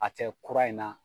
A tɛ kura in na